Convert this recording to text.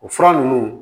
O fura ninnu